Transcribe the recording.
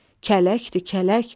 Kələkdir, kələk.